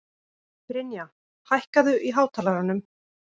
Brynja, hækkaðu í hátalaranum.